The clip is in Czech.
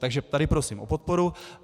Takže tady prosím o podporu.